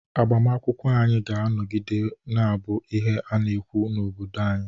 agbamakwụkwọ anyị ga-anọgide na-abụ ihe a na-ekwu n'obodo ahụ